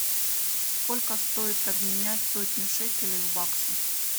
сколько стоит обменять сотню шекелей в баксы